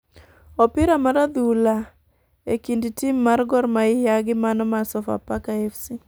Opira mar adhula e kind tim mar Gor mahia gi mano mar sofa faka fc.